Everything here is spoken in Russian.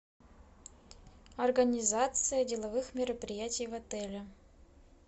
организация деловых мероприятий в отеле